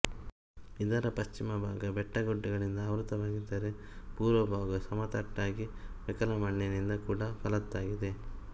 ಇದರ ಪಶ್ಚಿಮ ಭಾಗ ಬೆಟ್ಟಗುಡ್ಡಗಳಿಂದ ಆವೃತವಾಗಿದ್ದರೆ ಪೂರ್ವ ಭಾಗ ಸಮತಟ್ಟಾಗಿ ಮೆಕ್ಕಲಮಣ್ಣಿನಿಂದ ಕೂಡಿ ಫಲವತ್ತಾಗಿದೆ